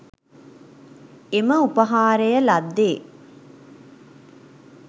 එම උපහාරය ලද්දේ.